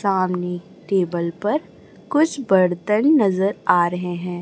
सामने टेबल पर कुछ बर्तन नजर आ रहे हैं।